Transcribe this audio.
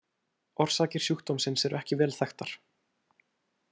Orsakir sjúkdómsins eru ekki vel þekktar.